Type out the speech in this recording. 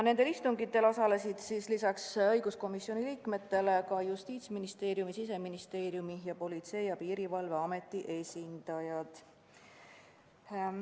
Nendel istungitel osalesid lisaks õiguskomisjoni liikmetele ka Justiitsministeeriumi, Siseministeeriumi ning Politsei- ja Piirivalveameti esindajad.